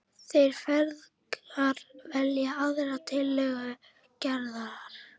Þeir feðgar velja aðra tillögu Gerðar.